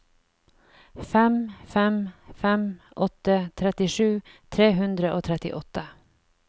fem fem fem åtte trettisju tre hundre og trettiåtte